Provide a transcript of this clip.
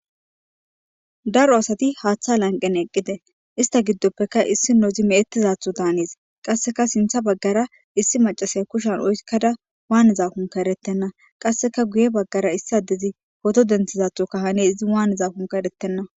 Daro asati haaththa lanqen eqqite ista giddoppeka issi nozi me7ettizatho taanis qasseka sintha baggara issi macasaya kushan oykkada waanizakunka erettenna qasseka guye baggara issi addezi hoto denthizathoka hane izi waaniza kunka erettenna